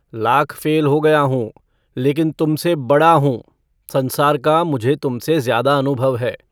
Lakh fail हो गया हूँ लेकिन तुमसे बड़ा हूँ। संसार का मुझे तुमसे ज़्यादा अनुभव है।